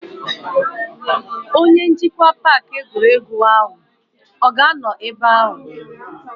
Onye njikwa paaki egwuregwu ọ ga-anọ ebe ahụ?